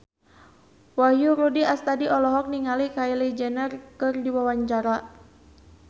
Wahyu Rudi Astadi olohok ningali Kylie Jenner keur diwawancara